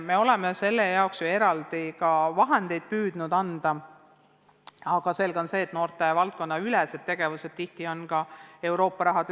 Me oleme selle jaoks ka eraldi raha püüdnud anda, aga on arusaadav, et noortevaldkonna tegevused sõltuvad palju ka Euroopa rahast.